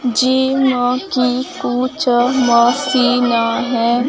Gym अ की कुछ मशीन हैं।